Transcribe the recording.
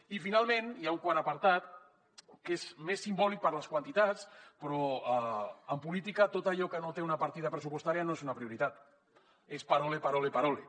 i finalment hi ha un quart apartat que és més simbòlic per les quantitats però en política tot allò que no té una partida pressupostària no és una prioritat és parole parole parole